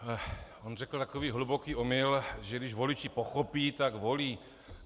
On řekl takový hluboký omyl, že když voliči pochopí, tak volí.